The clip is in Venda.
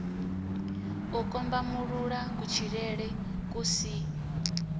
u kombamulula kutshilele ku si